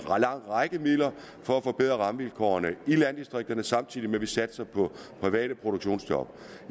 lang række midler for at forbedre rammevilkårene i landdistrikterne samtidig med at vi satser på private produktionsjob